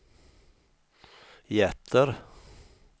hjärter